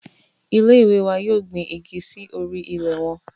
Ile-iwe wa yoo gbin igi si ori ilẹ wọn